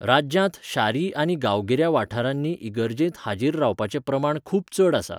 राज्यांत शारी आनी गांवगिऱ्या वाठारांनी इगर्जेंत हाजीर रावपाचें प्रमाण खूब चड आसा.